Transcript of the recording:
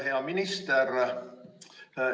Hea minister!